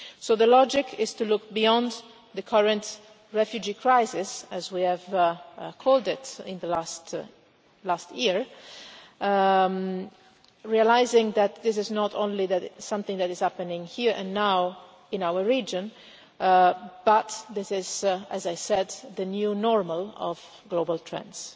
So the logic is to look beyond the current refugee crisis' as we have called it in the last year, realising that this is not only something that is happening here and now in our region, but is, as I said, the new normal of global trends.